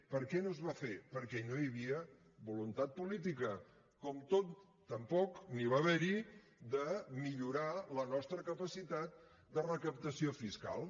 per què no es va fer perquè no hi havia voluntat política com tampoc n’hi va haver de millorar la nostra capacitat de recaptació fiscal